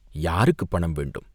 யாருக்குப் பணம் வேண்டும்!